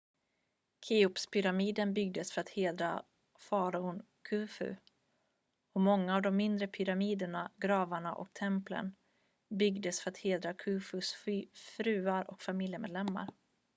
cheopspyramiden byggdes för att hedra faraon khufu och många av de mindre pyramiderna gravarna och templen byggdes för att hedra khufus fruar och familjemedlemmar